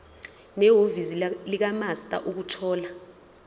nehhovisi likamaster ukuthola